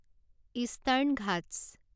eastern Ghats